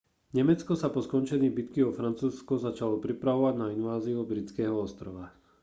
nemecko sa po skončení bitky o francúzsko začalo pripravovať na inváziu britského ostrova